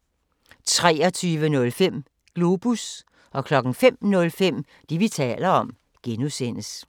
23:05: Globus 05:05: Det, vi taler om (G)